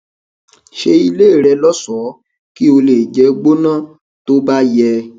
ṣe ilé rẹ lóṣọọ kí ó lè jẹ gbóná tó bá yẹ